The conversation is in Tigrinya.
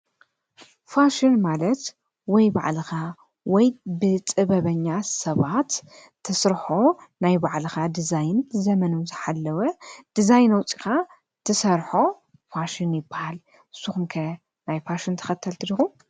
ፋሽን ማለት ወይ ባዕልኻ ወይ ብጥበበኛ ሰባት እትሰርሖ ናይ ባዕልኻ ዲዚይን ዘመን ዝሓለወ ዲዛይን ኣውፅኢኻ እትሰርሖ ፋሽን ይባሃል። ንስኹም ከ ናይ ፋሽን ተኸተልቲ ዲኹም?